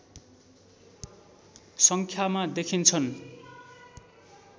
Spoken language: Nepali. सङ्ख्यामा देखिन्छन्